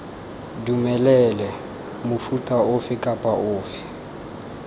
dumelele mofuta ofe kapa ofe